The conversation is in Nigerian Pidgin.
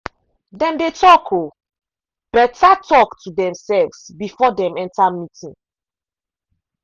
dem dey talk um better talk to themselves before dem enter meeting.